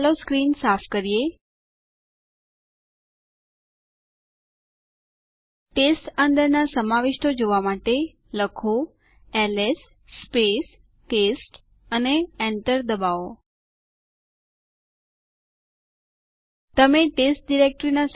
હું અહિયાં user duck માટે પાસવર્ડ દાખલ કરીશ યાદ કરો કે તે પોતે ડક હતું